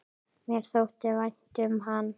Mér þótti vænt um hann.